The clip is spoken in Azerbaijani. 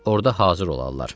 Orada hazır olarlar.